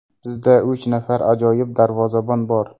Bizda uch nafar ajoyib darvozabon bor.